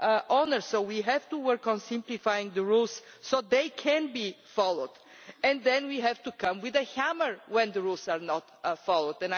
owner, so we have to work on simplifying the rules so they can be followed, and then we have to come with a hammer when the rules are not followed.